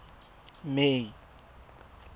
may